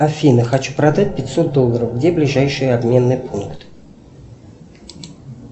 афина хочу продать пятьсот долларов где ближайший обменный пункт